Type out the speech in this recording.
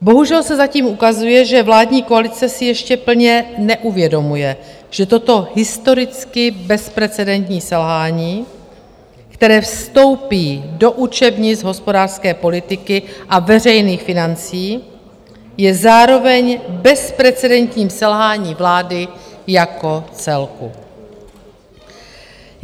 Bohužel se zatím ukazuje, že vládní koalice si ještě plně neuvědomuje, že toto historicky bezprecedentní selhání, které vstoupí do učebnic hospodářské politiky a veřejných financí, je zároveň bezprecedentním selháním vlády jako celku.